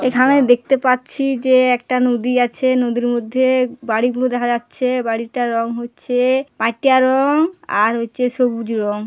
এখানে দেখতে পাচ্ছি যে একটা নদী আছে নদীর মধ্যে বাড়িগুলো দেখা যাচ্ছে বাড়িটা রং হচ্ছে পাইটিয়া রং আর হচ্ছে সবুজ রং।